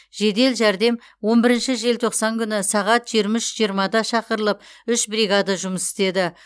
жедел жәрдем он бірінші желтоқсан күні сағат жиырма үш жиырмада шақырылып үш бригада жұмыс істеді